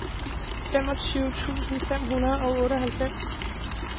femogtyve tusind fem hundrede og otteoghalvfems